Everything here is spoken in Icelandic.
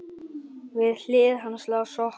Við hlið hans lá sokkur.